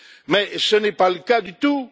Mais ce n'est pas le cas du tout.